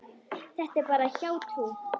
Þetta er bara hjátrú.